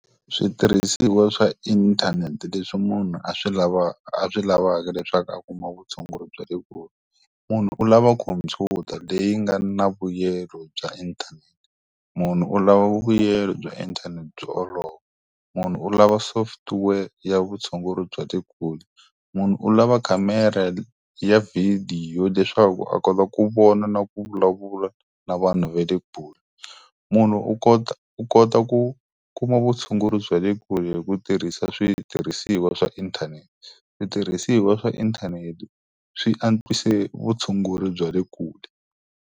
Switirhisiwa swa inthanete leswi munhu a swi a swi lavaka leswaku a kuma vutshunguri bya le kule. Munhu u lava khomphyuta leyi nga na vuyelo bya inthanete, munhu u lava vuyelo bya inthanete byo olova, munhu u lava software ya vutshunguri bya le kule. Munhu u lava camera ya vidiyo leswaku a kota ku vona na ku vulavula na vanhu va le kule. Munhu u kota u kota ku kuma vutshunguri bya le kule hi ku tirhisa switirhisiwa swa inthanete. Switirhisiwa swa inthanete swi antswise vutshunguri bya le kule.